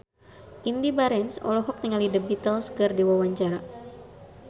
Indy Barens olohok ningali The Beatles keur diwawancara